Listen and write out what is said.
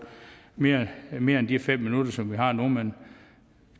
mere mere end de fem minutter som vi har nu men